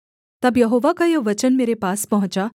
तब यहोवा का यह वचन मेरे पास पहुँचा